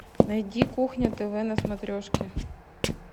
найди кухня тв на смотрешке